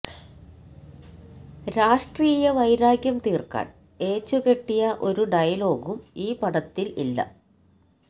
രാഷ്ട്രീയ വൈരാഗ്യം തീർക്കാൻ ഏച്ചുകെട്ടിയ ഒരു ഡയലോഗും ഈ പടത്തിൽ ഇല്ല